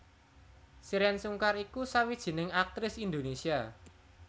Shireen Sungkar iku sawijining aktris Indonesia